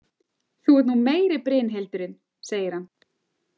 Þú ert nú meiri Brynhildurin, segir hann.